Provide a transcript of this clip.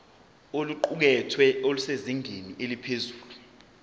oluqukethwe lusezingeni eliphezulu